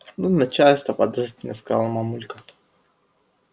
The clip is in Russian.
ну начальство подозрительно сказала мамулька